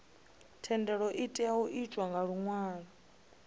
thendelo itea u itwa nga luṅwalo